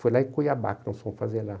Foi lá em Cuiabá, que nós fomos fazer lá.